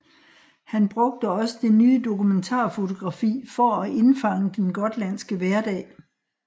Han brugte også det nye dokumentarfotografi for at indfange den gotlandske hverdag